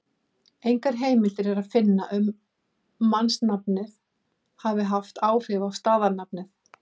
Engar heimildir er að finna um að mannsnafnið hafi haft áhrif á staðarnafnið.